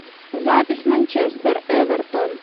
запись манчестер эвертон